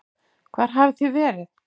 Hvar hafið þið verið?